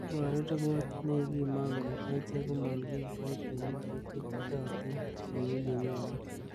Iboru ripot nekikimong kole echek komon kikiboitinik che itiittotin ko u nyolu.